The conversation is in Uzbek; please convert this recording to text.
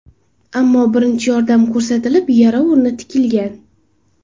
Ammo birinchi yordam ko‘rsatilib, yara o‘rni tikilgan.